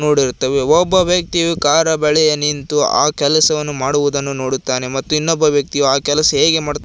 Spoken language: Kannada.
ರೋಡ್ ಇರುತ್ತವೆ ಒಬ್ಬ ವ್ಯಕ್ತಿ ಕಾರ್ ಬಳಿಯ ನಿಂತು ಆ ಕೆಲಸವನ್ನು ಮಾಡುವುದನ್ನು ನೋಡುತ್ತಾನೆ ಮತ್ತು ಇನ್ನೊಬ್ಬ ವ್ಯಕ್ತಿಯು ಕೆಲಸ ಹೇಗೆ ಮಾಡುತ್ತಾರೆ.